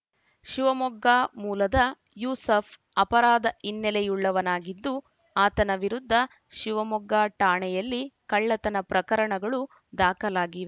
ಶಿವಮೊಗ್ಗ ಮೂಲದ ಯೂಸಫ್‌ ಅಪರಾಧ ಹಿನ್ನೆಲೆಯುವಳ್ಳನಾಗಿದ್ದು ಆತನ ವಿರುದ್ಧ ಶಿವಮೊಗ್ಗ ಠಾಣೆಯಲ್ಲಿ ಕಳ್ಳತನ ಪ್ರಕರಣಗಳು ದಾಖಲಾಗಿವೆ